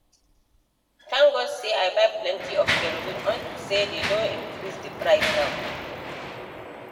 Thank God say I buy plenty of kerosene unto say dey don increase the price now